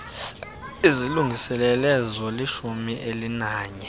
izilungiselele zolishumi elinanye